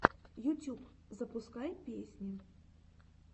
ютюб запускай песни